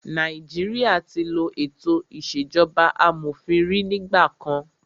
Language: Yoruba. Nàìjíríà tí ló ètò ìṣèjọba amòfin rí nígbà kan.